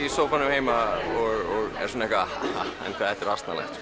heima og er svona haha en hvað þetta er asnalegt